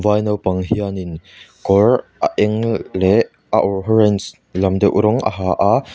vai naupang hianin kawr a eng leh a orange lam deuh rawng a ha a.